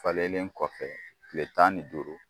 Falen kɔfɛ kile tan ni duuru